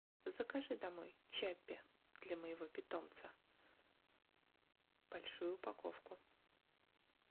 закажи домой чаппи для моего питомца большую упаковку